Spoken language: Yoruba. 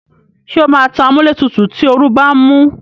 Ṣé o máa tan amúlétutù tí oru bá ń mú?